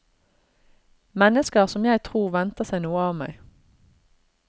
Mennesker som jeg tror venter seg noe av meg.